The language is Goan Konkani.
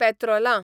पेत्रोलां